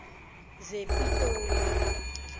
zepitoli